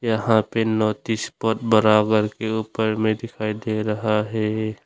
यहां पे notice board बराबर के ऊपर में दिखाई दे रहा है।